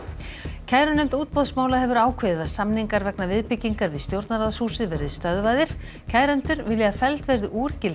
kærunefnd útboðsmála hefur ákveðið að samningar vegna viðbyggingar við stjórnarráðshúsið verði stöðvaðir kærendur vilja að felld verði úr gildi